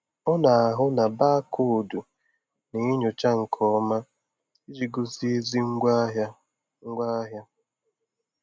Ọ na-ahụ na baakoodu na-enyocha nke ọma iji gosi ezi ngwaahịa. ngwaahịa.